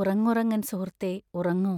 ഉറങ്ങുറങ്ങൻ സുഹൃത്തേ ഉറങ്ങു!